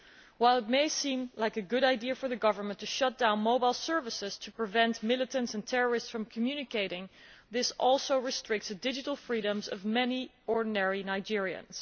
While it may seem like a good idea for the government to shut down mobile services to prevent militants and terrorists from communicating, this also restricts the digital freedoms of many ordinary Nigerians.